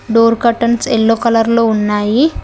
Door curtains yellow colour లో ఉన్నాయి.